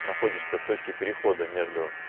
находишься в точке перехода между